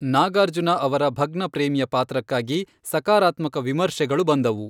ನಾಗಾರ್ಜುನ ಅವರ ಭಗ್ನ ಪ್ರೇಮಿಯ ಪಾತ್ರಕ್ಕಾಗಿ ಸಕಾರಾತ್ಮಕ ವಿಮರ್ಶೆಗಳು ಬಂದವು.